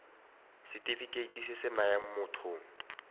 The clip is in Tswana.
setefikeiti se se nayang motho